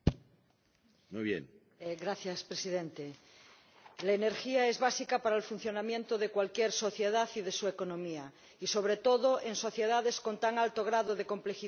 Señor Presidente, la energía es básica para el funcionamiento de cualquier sociedad y de su economía, y sobre todo en sociedades con tan alto grado de complejidad como las nuestras.